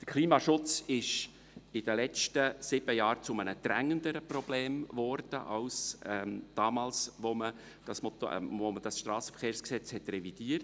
Der Klimaschutz ist in den letzten sieben Jahren zu einem dringenderen Problem geworden als es damals war, als man das Strassenverkehrsgesetz (SVG) revidierte.